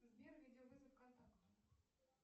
сбер видеовызов контакту